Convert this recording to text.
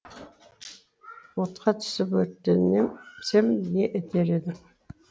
отқа түсіп өртенем не етер едің